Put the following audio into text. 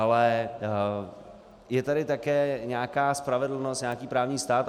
Ale je tady také nějaká spravedlnost, nějaký právní stát.